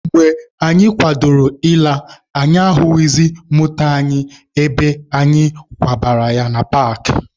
Mgbe anyị kwadoro ịla, anyị ahụghịzị moto anyị ebe anyị kwụbara ya na paakị.